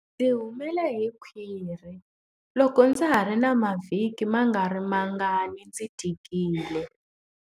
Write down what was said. Ndzi humele hi khwiri loko ndza ha ri na mavhiki mangarimangani ndzi tikile.